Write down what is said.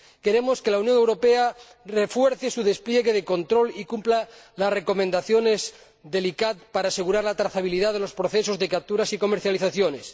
Queremos que la Unión Europea refuerce su despliegue de control y cumpla las recomendaciones del ICCAT para asegurar la trazabilidad de los procesos de captura y las comercializaciones.